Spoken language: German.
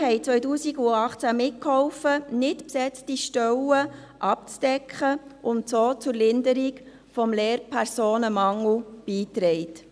30 Studierende halfen 2018 mit, nicht besetzte Stellen abzudecken, und trugen so zur Linderung des Lehrpersonenmangels bei.